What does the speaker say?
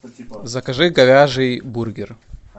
закажи говяжий бургер